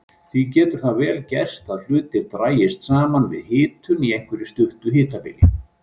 Því getur það vel gerst að hlutir dragist saman við hitun á einhverju stuttu hitabili.